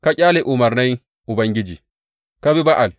Ka ƙyale umarnai Ubangiji, ka bi Ba’al.